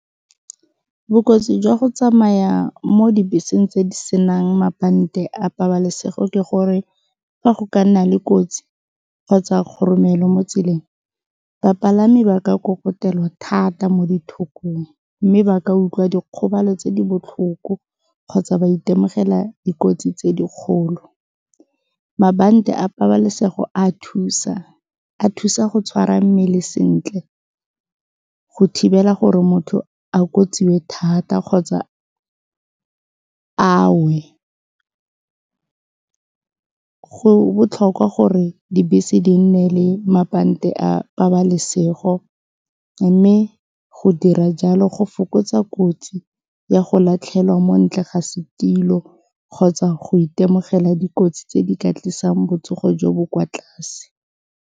Bokotsi jwa go tsamaya mo dibeseng tse di senang mabante a pabalesego ke gore fa go ka nna le kotsi kgotsa goromelo mo tseleng, bapalami ba ka thata mo dithokong mme ba ka utlwa dikgobalo tse di botlhoko kgotsa ba itemogela dikotsi tse dikgolo. Mabante a pabalesego a thusa, a thusa go tshwara mmele sentle go thibela gore motho a thata kgotsa a we. Go botlhokwa gore dibese di nne le mabante a pabalesego mme go dira jalo go fokotsa kotsi ya go latlhelwa mo ntle ga setilo kgotsa go itemogela dikotsi tse di ka tlisang botsogo jo bo kwa tlase.